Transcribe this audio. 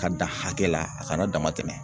Ka dan hakɛ la a kana damatɛmɛ.